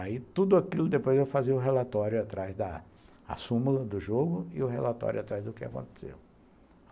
Aí tudo aquilo depois eu fazia o relatório atrás da... a súmula do jogo e o relatório atrás do que aconteceu.